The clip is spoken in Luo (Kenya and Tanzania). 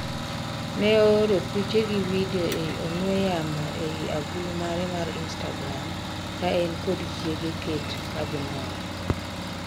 ne ooro piche gi vidio ei ong'we yamo ei agulu mare mar instagram ka en kod chiege Kate kagimor